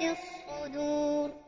الصُّدُورِ